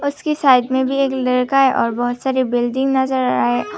इसकी साइड में भी एक लड़का है और बहुत सारी बिल्डिंग नजर आए--